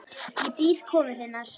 Ég bíð komu þinnar.